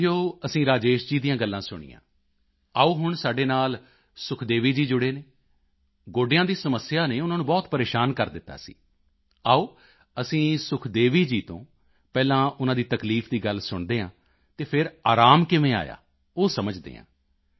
ਸਾਥੀਓ ਅਸੀਂ ਰਾਜੇਸ਼ ਜੀ ਦੀਆਂ ਗੱਲਾਂ ਸੁਣੀਆਂ ਆਓ ਹੁਣ ਸਾਡੇ ਨਾਲ ਸੁਖਦੇਵੀ ਜੀ ਜੁੜੇ ਨੇ ਗੋਡਿਆਂ ਦੀ ਸਮੱਸਿਆ ਨੇ ਉਨ੍ਹਾਂ ਨੂੰ ਬਹੁਤ ਪਰੇਸ਼ਾਨ ਕਰ ਦਿੱਤਾ ਸੀ ਆਓ ਅਸੀਂ ਸੁਖਦੇਵੀ ਜੀ ਤੋਂ ਪਹਿਲਾਂ ਉਨ੍ਹਾਂ ਦੀ ਤਕਲੀਫ ਦੀ ਗੱਲ ਸੁਣਦੇ ਹਾਂ ਅਤੇ ਫਿਰ ਆਰਾਮ ਕਿਵੇਂ ਆਇਆ ਉਹ ਸਮਝਦੇ ਹਾਂ